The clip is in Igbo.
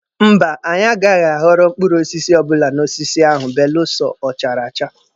Mba, anyị agaghị aghọrọ mkpụrụ osisi ọbụla n'osisi ahụ belụsọ ọ chara acha.